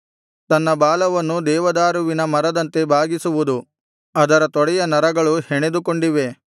ತನ್ನ ಬಾಲವನ್ನು ದೇವದಾರುವಿನ ಮರದಂತೆ ಬಾಗಿಸುವುದು ಅದರ ತೊಡೆಯ ನರಗಳು ಹೆಣೆದುಕೊಂಡಿವೆ